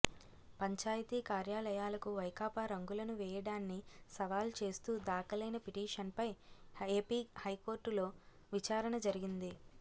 పంచాయతీ కార్యాలయాలకు వైకాపా రంగులను వేయడాన్ని సవాల్ చేస్తూ దాఖలైన పిటిషన్పై ఏపీ హైకోర్టులో విచారణ జరిగింది